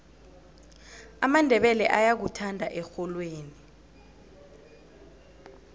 amandebele ayakuthanda erholweni